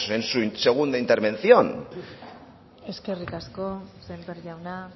en su segunda intervención eskerrik asko sémper jauna